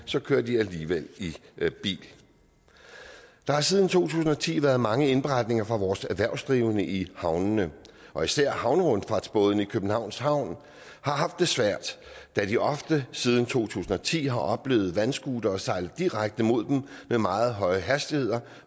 kører de alligevel i bil der har siden to tusind og ti været mange indberetninger fra vores erhvervsdrivende i havnene og især havnerundfartsbådene i københavns havn har haft det svært da de ofte siden to tusind og ti har oplevet vandscootere sejle direkte imod dem med meget høje hastigheder